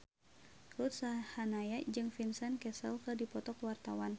Ruth Sahanaya jeung Vincent Cassel keur dipoto ku wartawan